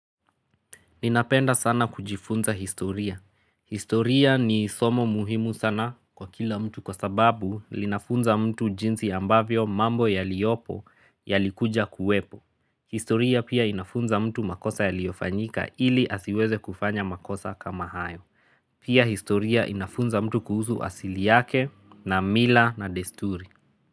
Ninapenda sana kujifunza historia. Historia ni somo muhimu sana kwa kila mtu kwa sababu linafunza mtu jinsi ambavyo mambo yaliopo yalikuja kuwepo. Historia pia inafunza mtu makosa yaliyofanyika ili asiweze kufanya makosa kama hayo. Pia historia inafunza mtu kuhusu asili yake na mila na desturi.